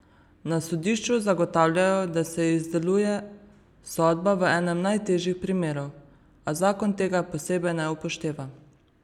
Na sodišču zagotavljajo, da se izdeluje sodba v enem najtežjih primerov, a zakon tega posebej ne upošteva.